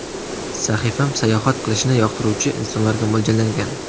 Sahifam-sayohat qilishni yoqtiruvchi insonlarga mo‘ljallangan.